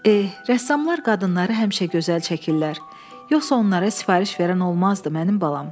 Eh, rəssamlar qadınları həmişə gözəl çəkirlər, yoxsa onlara sifariş verən olmazdı mənim balam.